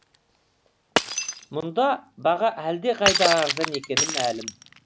мұнда баға әлдеқайда арзан екені мәлім